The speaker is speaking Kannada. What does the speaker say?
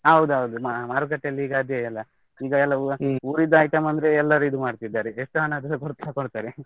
ಹೌದೌದು, ಮಾ~ ಮಾರುಕಟ್ಟೆಯಲ್ಲಿ ಈಗ ಅದೇಯಲ್ಲ, ಈಗ ಎಲ್ಲ ಈ ಉರಿದ್ದು item ಅಂದ್ರೆ ಎಲ್ಲರು ಇದ್ ಮಾಡ್ತಿದ್ದಾರೆ, ಎಸ್ಟು ಹಣ ಆದ್ರೆಸಾ ಕೊಟ್ಟು ತಕೊಳ್ತಾರೆ .